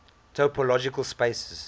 topological spaces